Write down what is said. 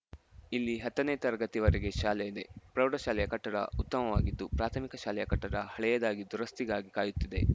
ಇಲ್ಲಿ ಹತ್ತನೇ ತರಗತಿಯವರೆಗೆ ಶಾಲೆ ಇದೆ ಪ್ರೌಢಶಾಲೆಯ ಕಟ್ಟಡ ಉತ್ತಮವಾಗಿದ್ದು ಪ್ರಾಥಮಿಕ ಶಾಲೆಯ ಕಟ್ಟಡ ಹಳೆಯದಾಗಿ ದುರಸ್ತಿಗಾಗಿ ಕಾಯುತ್ತಿದೆ